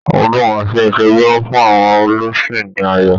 Ọdún Ọ̀ṣun Òṣogbo ń fún àwọn Olùsìn ní ayọ̀